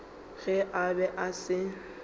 ge a be a se